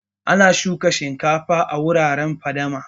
Ana shukan shinkafa a wuraren fadama